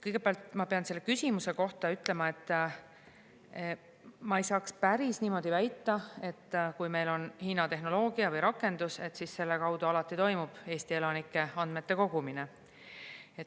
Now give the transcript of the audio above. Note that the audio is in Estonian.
" Kõigepealt, ma pean selle küsimuse kohta ütlema, et ma ei saaks päris niimoodi väita, et kui meil on Hiina tehnoloogia või rakendus, siis selle kaudu alati toimub Eesti elanike andmete kogumine.